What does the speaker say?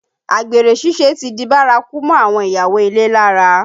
Àgbèrè ṣíṣe ti di bárakú mọ́ àwọn ìyàwó ilé lára